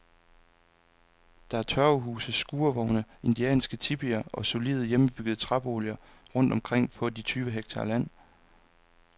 Der er tørvehuse, skurvogne, indianske tipier og solide, hjemmebyggede træboliger rundt omkring på de tyve hektar land.